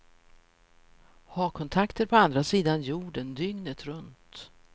Ha kontakter på andra sidan jorden dygnet runt.